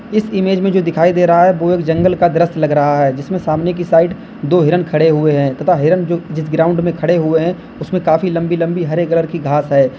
इस इमेज में जो दिखाई दे रहा है वो एक जंगल का दृश्य लग रहा है जिसमें सामने की साइड दो हिरन खड़े हुए हैं तथा हिरन जो जिस ग्राउंड में खड़े हुए हैं उसमें काफी लम्बी लम्बी हरे कलर की घास है।